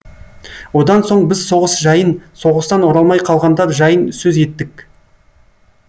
одан соң біз соғыс жайын соғыстан оралмай қалғандар жайын сөз еттік